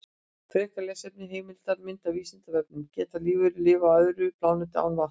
Frekara lesefni, heimildir og mynd á Vísindavefnum: Geta lífverur lifað á öðrum plánetum án vatns?